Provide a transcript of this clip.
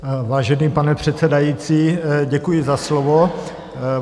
Vážený pane předsedající, děkuji za slovo.